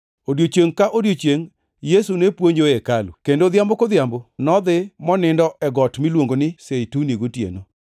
Odiechiengʼ ka odiechiengʼ Yesu ne puonjo e hekalu, kendo odhiambo kodhiambo nodhi monindo e Got miluongo ni Zeituni gotieno.